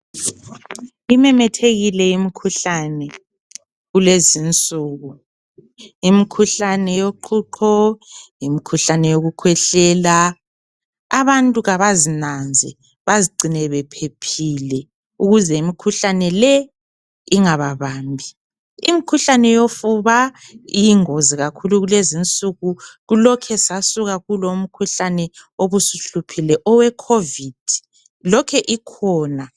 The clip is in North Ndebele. Imemethekile imikhuhlane kulezinsuku. Imikhuhlane yoqhuqho, imikhuhlane yokukhwehlela. Abantu kabazinanze, bazigcine bephephile ukuze imikhuhlane le ingababambi. Imikhuhlane yofuba iyingozi kakhulu kulezinsuku, kulokhe sasuka kulomkhuhlane obusuhluphile owe-Covid, lokhe ikhona.